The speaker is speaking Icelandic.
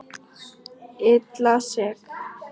Illa sek.